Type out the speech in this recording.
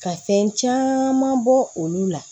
Ka fɛn caman bɔ olu la